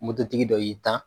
Moto tigi dɔ y'i tan.